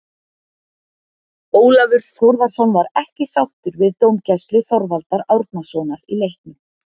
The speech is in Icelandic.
Ólafur Þórðarson var ekki sáttur við dómgæslu Þorvaldar Árnasonar í leiknum.